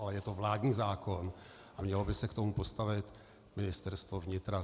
Ale je to vládní zákon a mělo by se k tomu postavit Ministerstvo vnitra.